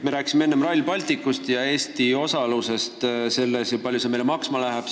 Me rääkisime enne Rail Balticust ja Eesti osalusest selles, kui palju see meile maksma läheb.